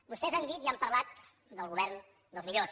vostès han dit i han parlat del govern dels millors